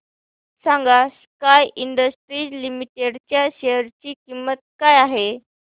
सांगा Sky Industries Limited च्या share ची किंमत काय आहे